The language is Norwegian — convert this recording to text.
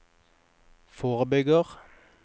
forebygger